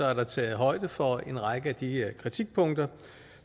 er der taget højde for en række af de her kritikpunkter